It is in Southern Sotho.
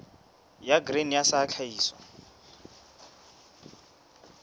ya grain sa ya tlhahiso